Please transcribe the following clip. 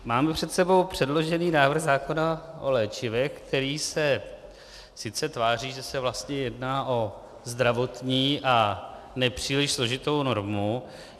Máme před sebou předložený návrh zákona o léčivech, který se sice tváří, že se vlastně jedná o zdravotní a nepříliš složitou normu.